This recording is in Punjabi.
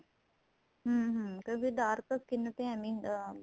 ਹਮ ਹਮ ਕਿਉਂਕਿ dark skin ਐਵੇ ਹੀ ਅਹ